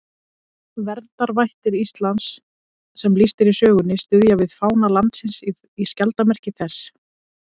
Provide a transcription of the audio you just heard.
Verndarvættir Íslands sem lýst er í sögunni styðja við fána landsins í skjaldarmerki þess.